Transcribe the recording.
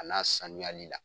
A n'a sanuyali la.